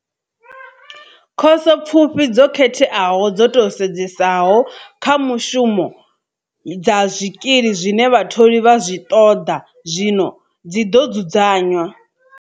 Khoso pfufhi dzo khetheaho dzo tou sedzesaho kha mushumo dza zwikili zwine vhatholi vha zwi ṱoḓa zwino dzi ḓo dzudzanywa.